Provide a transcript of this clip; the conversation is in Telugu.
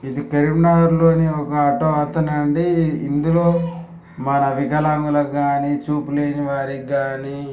ఇది కరీంనగర్ లోని ఒక ఆటో అతను అండీ ఇందులో మన వికలాంగులకు కానీ చూపు లేని వారికి కానీ